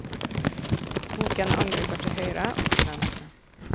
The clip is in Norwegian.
Boken angriper til høyre og til venstre.